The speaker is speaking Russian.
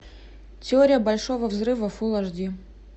теория большого взрыва фулл аш ди